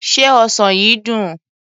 Se ọsàn yìí dùn?